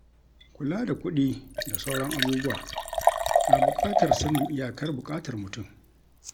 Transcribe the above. Kula da kuɗi da sauran abubuwa na buƙatar sanin iyakar buƙatar mutum.